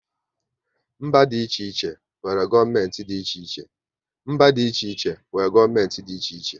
Mba dị iche iche nwere gọọmenti dị iche iche